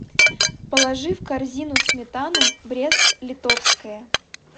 положи в корзину сметану брест литовская